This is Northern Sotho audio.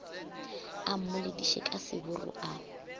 a mmolediše ka seburu a